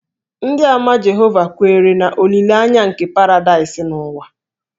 Ndịàmà Jehova kweere na olileanya nke paradaịs n'ụwa